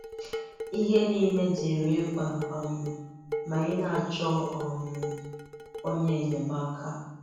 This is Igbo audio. Ihe niile dị rị mkpa um ma ị na-achọ um onye nyemaaka